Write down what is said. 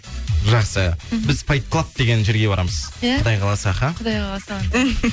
жақсы біз файтклаб деген жерге барамыз иә құдай қаласа аха құдай қаласа